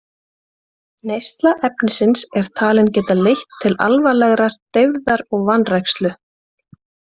Neysla efnisins er talin geta leitt til alvarlegrar deyfðar og vanrækslu.